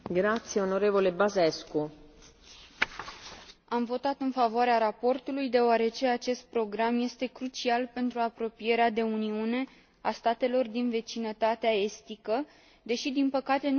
Am votat în favoarea raportului deoarece acest program este crucial pentru apropierea de Uniune a statelor din vecinătatea estică deși, din păcate, nu li s a oferit încă o perspectivă clară de aderare.